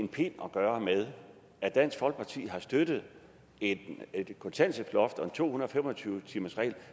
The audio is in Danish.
en pind at gøre med at dansk folkeparti har støttet et kontanthjælpsloft og en to hundrede og fem og tyve timersregel